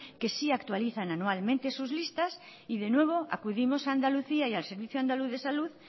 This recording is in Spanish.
que sí actualizan anualmente sus listas y de nuevo acudimos a andalucía y al servicio andaluz de salud